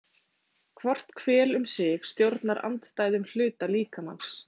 Hvort hvel um sig stjórnar andstæðum hluta líkamans.